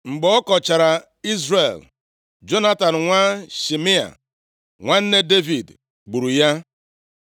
Mgbe ọ kọchara Izrel, Jonatan nwa Shimea, nwanne Devid gburu ya.